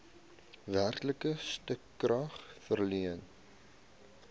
werklike stukrag verleen